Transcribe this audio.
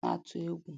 na-atụ egwu.